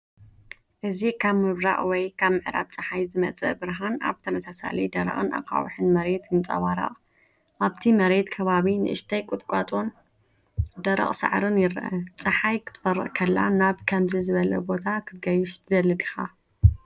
እዚ ካብ ምብራቕ ወይ ምዕራብ ጸሓይ ዝመጽእ ብርሃን ኣብ ተመሳሳሊ ደረቕን ኣኻውሕን መሬት ይንጸባረቕ። ኣብቲ መሬት ከባቢ ንእሽተያት ቁጥቋጥን ደረቕ ሳዕርን ይርአ። ጸሓይ ክትበርቕ ከላ ናብ ከምዚ ዝበለ ቦታ ክትገይሽ ትደሊ ዲኻ?